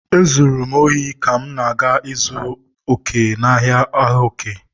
Ezuru m obi ka m na-aga ịzụrụ òkè, n'ahịa ahịa òkè